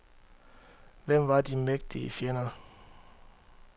Hvem var de mægtige fjender?